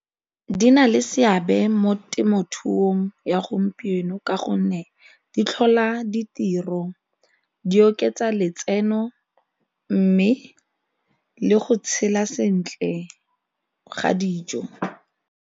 Di na le seabe mo temothuong ya gompieno ka gonne di tlhola ditiro, di oketsa letseno mme le go tshela sentle ga dijo.